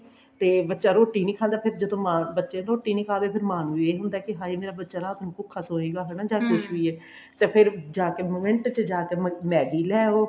ਤੇ ਬੱਚਾ ਰੋਟੀ ਨੀ ਖਾਂਦਾ ਫੇਰ ਜਦੋਂ ਮਾਂ ਬੱਚੇ ਨੂੰ ਰੋਟੀ ਨੀ ਖਾਈ ਤਾਂ ਫੇਰ ਮਾਂ ਨੂੰ ਵੀ ਇਹ ਹੁੰਦਾ ਕਿ ਹਾਏ ਮੇਰਾ ਬੱਚਾ ਰਾਤ ਨੂੰ ਭੁੱਖਾ ਸੋਏਗਾ ਹਨਾ ਜਾਂ ਕੁੱਝ ਵੀ ਆ ਤੇ ਫੇਰ ਜਾਕੇ ਮਿੰਟ ਚ ਜਾਕੇ Maggie ਲੈ ਆਉ